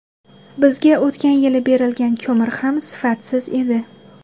Bizga o‘tgan yili berilgan ko‘mir ham sifatsiz edi.